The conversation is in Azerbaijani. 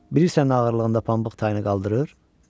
Bilirsən nə ağırlığında pambıq tayını qaldırır?